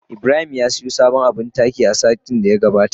Ibrahim ya siyo sabon abin taki a satin da ya gabata.